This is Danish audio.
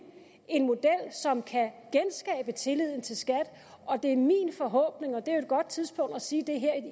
en model som kan genskabe tilliden til skat det er min forhåbning og det er jo et godt tidspunkt at sige det her